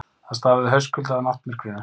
Það stafaði haustkulda af náttmyrkrinu.